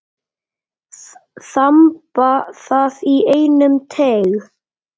Þamba það í einum teyg.